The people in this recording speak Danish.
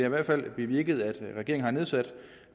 i hvert fald bevirket at regeringen har sat